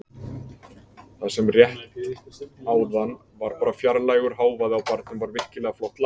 Það sem rétt áðan var bara fjarlægur hávaði á barnum var virkilega flott lag.